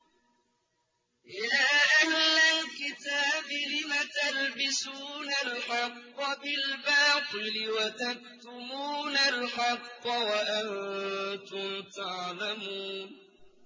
يَا أَهْلَ الْكِتَابِ لِمَ تَلْبِسُونَ الْحَقَّ بِالْبَاطِلِ وَتَكْتُمُونَ الْحَقَّ وَأَنتُمْ تَعْلَمُونَ